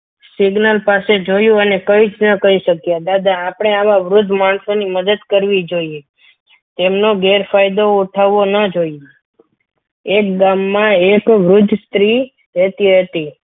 signal પાસે જોયું અને કંઈ જ ના કરી શક્યા દાદા આપણે આવા વૃદ્ધ માણસોની મદદ કરવી જોઈએ તેમનો ગેરફાયદો ઉઠાવવું ન જોઈએ એક ગામમાં એક વૃદ્ધ સ્ત્રી રહેતી હતી.